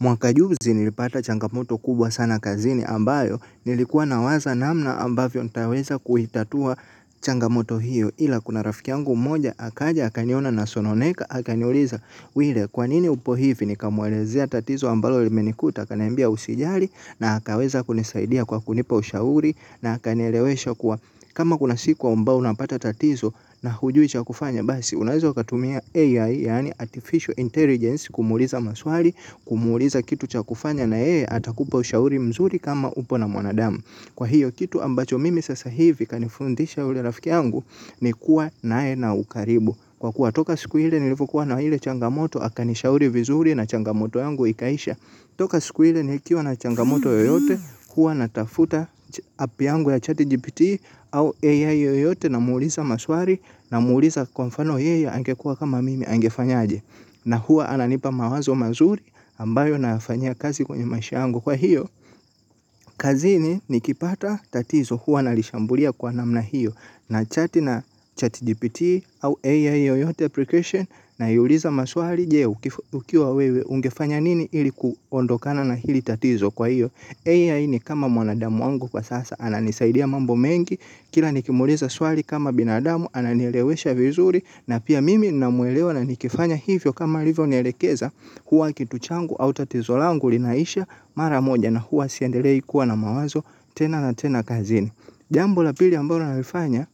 Mwaka juzi nilipata changamoto kubwa sana kazini ambayo nilikuwa nawaza namna ambavyo nitaweza kuitatua changamoto hiyo ila kuna rafiki yangu moja akaja akaniona nasononeka akaniuliza. Wile kwanini upo hivi nikamwelezea tatizo ambalo limenikuta akaniambia usijali na akaweza kunisaidia kwa kunipa ushauri na akanielewesha kuwa kama kuna siku ambao unapata tatizo na hujui cha kufanya basi unaeza katumia AI yani Artificial Intelligence kumuuliza maswali kumuuliza kitu cha kufanya na yeye atakupa ushauri mzuri kama upo na mwanadamu. Kwa hiyo kitu ambacho mimi sasa hivi kanifundisha ule rafikiyangu ni kuwa naye na ukaribu. Kwa kuwa toka siku ile nilipokuwa na ile changamoto akanishauri vizuri na changamoto yangu ikaisha. Toka siku iile nikiwa na changamoto yoyote huwa natafuta app yangu ya chati GPT au AI yoyote namuuliza maswali namuuliza kwa mfano yeye angekua kama mimi angefanyaje. Na huwa ananipa mawazo mazuri ambayo nayafanyia kazi kwenye maisha yangu. Kwa hiyo, kazini nikipata tatizo hua nalishambulia kwa namna hiyo. Na chat na chat GPT au AI yoyote application. Naiuliza maswali je ukiwa wewe ungefanya nini ili kuondokana na hili tatizo kwa hiyo AI ni kama mwanadamu wangu kwa sasa ananisaidia mambo mengi. Kila nikimuuliza swali kama binadamu ananielewesha vizuri. Na pia mimi ninamuelewa na nikifanya hivyo kama alivyonielekeza. Huwa kitu changu au tatizo langu linaisha mara moja na huwa siendelei kuwa na mawazo tena na tena kazini. Jambo la pili ambalo nalifanya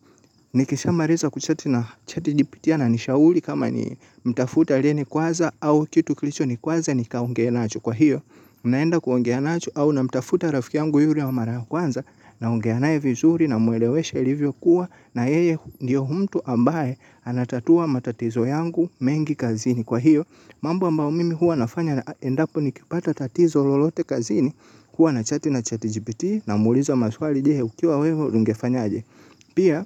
nikishamaliza kuchati na chatGPT ana nishauri kama ni mtafute aliyenikwaza au kitu kilicho nikwaza nikaongee nacho kwa hiyo. Naenda kuongea nacho au namtafuta rafiki yangu yule wa mara kwanza naongea naye vizuri namwelewesha ilivyokuwa na yeye ndio mtu ambaye anatatua matatizo yangu mengi kazini kwa hiyo. Mambo ambao mimi huwa nafanya na endapo nikipata tatizo lolote kazini huwa nachati na chati jipiti na muuliza maswali je ukiwa wewe ungefanyaje. Pia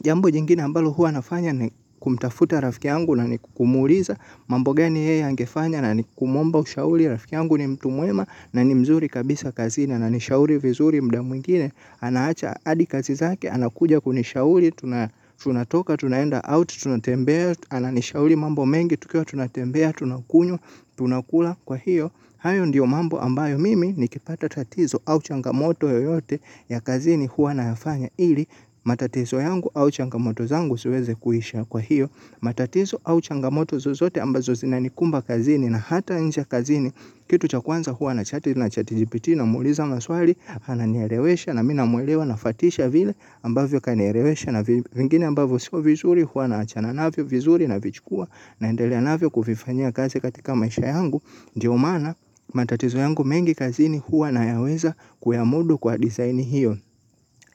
jambo jingine ambalo huwa nafanya ni kumtafuta rafikyangu na ni kumuliza. Mambo gani yeye angefanya na ni kumuomba ushauri rafiki yangu ni mtu mwema na ni mzuri kabisa kazini ananishauri vizuri muda mwingine anaacha hadi kazi zake anakuja kunishauri tuna tunatoka, tunaenda out, tunatembea, ananishauri mambo mengi, tukiwa, tunatembea, tunakunywa, tunakula kwa hiyo. Hayo ndio mambo ambayo mimi nikipata tatizo au changamoto yoyote ya kazini huwa nayafanya ili matatizo yangu au changamoto zangu siweze kuisha kwa hiyo. Matatizo au changamoto zozote ambazo zinanikumba kazini na hata nje kazini. Kitu cha kwanza huwa na chati na chati jipiti namuuliza maswali, ananielewesha na mi namuelewa na fatisha vile ambavyo kanelewesha na vingine ambavyo sio vizuri huwa naachana navyo vizuri navichukua naendelea navyo kufifanya kazi katika maisha yangu, ndiomaana matatizo yangu mengi kazini huwa nayaweza kuyamudu kwa design hiyo.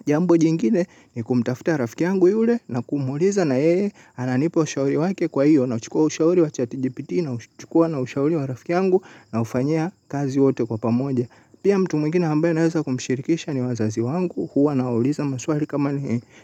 Jambo jingine ni kumtafta rafiki yangu yule na kumuuliza na yeye ananipa ushauri wake kwa hiyo nauchukua ushauri wa chatijipiti na uchukua na ushauri wa rafiki yangu naufanyia kazi wote kwa pamoja. Pia mtu mwingine ambaye naweza kumshirikisha ni wazazi wangu, huwa nawauliza maswali kama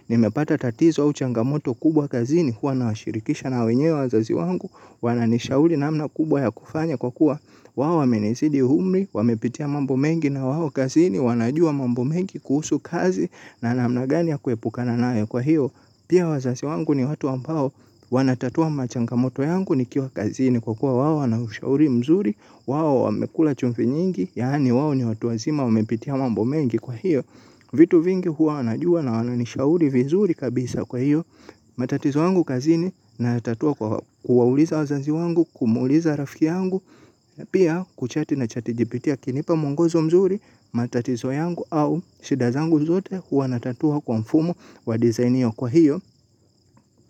nimepata tatizo au changamoto kubwa kazini, huwa nawashirikisha na wenyewe wazazi wangu, wananishauri namna kubwa ya kufanya kwa kuwa wao wamenizidi umri, wamepitia mambo mengi na wao kazini, wanajua mambo mengi kuhusu kazi na namna gani ya kuepuka na nayo kwa hiyo. Pia wazazi wangu ni watu ambao wanatatua machangamoto yangu nikiwa kazini kwa kuwa wao wanaushauri mzuri, wao wamekula chumvi nyingi, yaani wao ni watu wazima wamepitia mambo mengi kwa hiyo. Vitu vingi huwa wanajua na wananishauri vizuri kabisa kwa hiyo. Matatizo yangu kazini nayatatua kwa kuwauliza wazazi wangu kumuuliza rafiki yangu. Pia kuchati na chati jipitii akinipa mwongozo mzuri matatizo yangu au shida zangu zote huwa natatua kwa mfumo wa design hiyo kwa hiyo.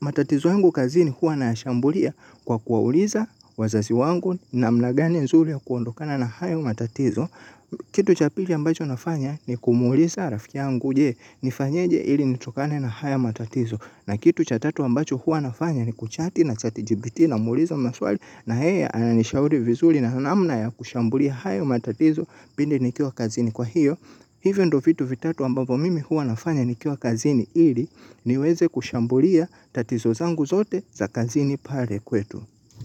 Matatizo yangu kazini huwa nayashambulia kwa kuwauliza wazazi wangu namna gani nzuri ya kuondokana na hayo matatizo. Kitu cha pili ambacho nafanya ni kumuliza rafiki yangu je nifanyeje ili nitokane na haya matatizo. Na kitu cha tatu ambacho huwa nafanya ni kuchati na chati jipiti na muuliza maswali. Na yeye ananishauri vizuri na namna ya kushambulia haya matatizo pindi nikiwa kazini kwa hiyo. Hivyo ndio vitu vitatu ambapo mimi hua nafanya nikiwa kazini ili niweze kushambulia tatizo zangu zote za kazini pale kwetu.